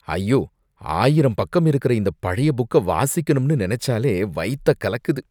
ஐயோ! ஆயிரம் பக்கம் இருக்குற இந்த பழைய புக்க வாசிக்கணும்னு நினைச்சாலே வயத்த கலக்குது.